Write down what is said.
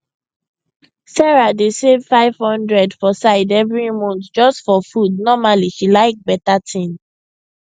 sarah dey save 500 for side every month just for food normally she like beta thing